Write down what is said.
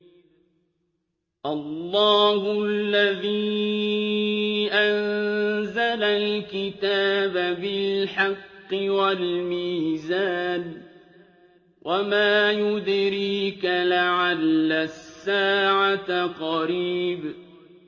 اللَّهُ الَّذِي أَنزَلَ الْكِتَابَ بِالْحَقِّ وَالْمِيزَانَ ۗ وَمَا يُدْرِيكَ لَعَلَّ السَّاعَةَ قَرِيبٌ